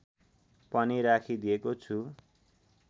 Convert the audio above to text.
पनि राखिदिएको छु